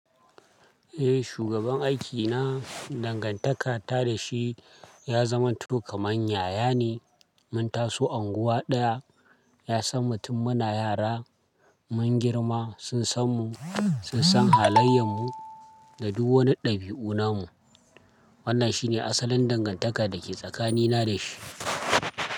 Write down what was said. Eh, shugaban aikina dangantaka ta da shi ya zama to kamar yayane. Mun taso unguwa ɗaya, ya san mu tun muna yara. Mun girma, sun san mu, sun san halayen mu da duk wani ɗabi'una mu. Wannan shi ne asalin dangantaka da ke tsakanina da shi.